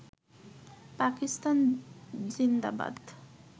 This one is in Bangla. পাকিস্তান জিন্দাবাদ